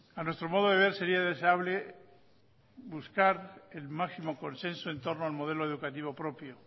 a nuestro modo de ver sería deseable buscar el máximo consenso en torno al modelo educativo propio